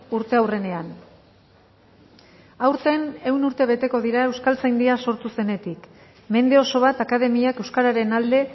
urteurrenean aurten ehun urte beteko dira euskaltzaindia sortu zenetik mende oso bat akademiak euskararen alde